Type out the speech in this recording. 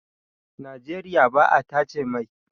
Nageriya ba a tace mai